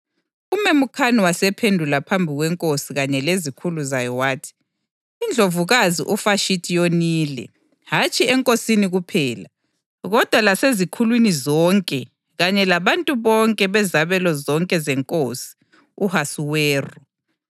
UMemukhani wasephendula phambi kwenkosi kanye lezikhulu zayo wathi, “INdlovukazi uVashithi yonile, hatshi enkosini kuphela, kodwa lasezikhulwini zonke kanye labantu bonke bezabelo zonke zeNkosi u-Ahasuweru.